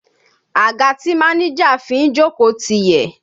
Àga tí máníjà fi ń jókòó ti yẹ̀